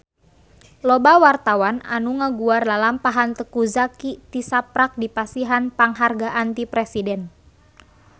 Loba wartawan anu ngaguar lalampahan Teuku Zacky tisaprak dipasihan panghargaan ti Presiden